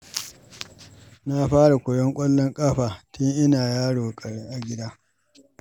Na fara koyon ƙwallon kafa tun ina ƙaramin yaro a gida.